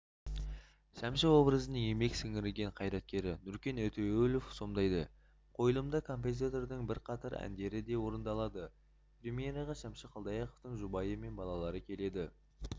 шәмші образын еңбек сірңірген қайраткері нүркен өтеуілов сомдайды қойылымда композитордың бірқатар әндері де орындалады премьераға шәмші қалдаяқовтың жұбайы мен балалары келеді